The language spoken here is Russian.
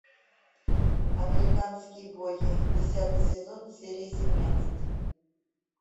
американские боги десятый сезон серия семнадцать